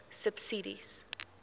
subsidies